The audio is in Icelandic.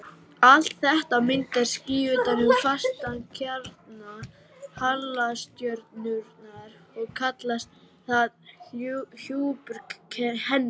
Allt þetta myndar ský utan um fastan kjarna halastjörnunnar og kallast það hjúpur hennar.